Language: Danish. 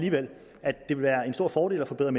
det vil være en stor fordel at forbedre